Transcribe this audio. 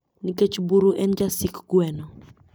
Nikech buru en jasik gweno.